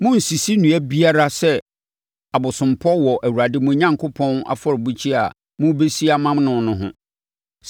Monnsisi nnua biara sɛ abosompɔ wɔ Awurade mo Onyankopɔn afɔrebukyia a morebɛsi ama no no ho.